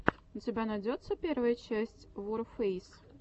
у тебя найдется первая часть ворфэйс